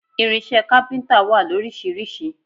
Irinṣẹ́ kápíntà wà lóríṣiríṣi